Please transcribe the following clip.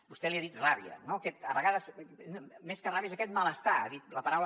vostè n’ha dit ràbia no a vegades més que ràbia és aquest malestar ha dit la paraula